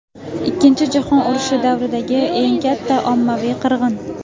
Ikkinchi jahon urushi davridagi eng katta ommaviy qirg‘in.